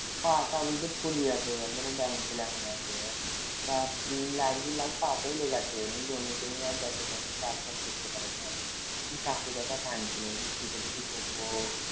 ফুলি আছে একবারে জমিতে যাইতে পারেনা চাষ বাস করতে পারেনা কাকী কাইনছিলো যে কি করি কি করবো